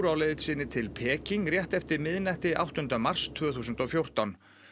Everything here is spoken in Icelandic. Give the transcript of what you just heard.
á leið til Peking rétt eftir miðnætti áttunda mars tvö þúsund og fjórtán